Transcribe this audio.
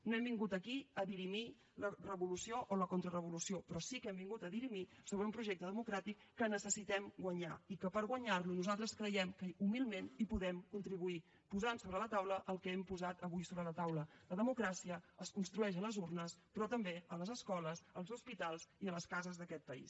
no hem vingut aquí a dirimir la revolució o la contrarevolució però sí que hem vingut a dirimir sobre un projecte democràtic que necessitem guanyar i que per guanyar lo nosaltres creiem que humilment hi podem contribuir posant sobre la taula el que hem posat avui sobre la taula la democràcia es construeix a les urnes però també a les escoles als hospitals i a les cases d’aquest país